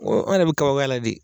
an yɛrɛ be kabakoy'a la de